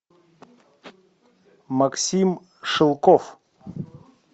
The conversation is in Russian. максим шелков